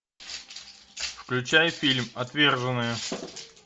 включай фильм отверженные